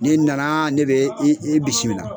Ni nana ne be i i bisimila.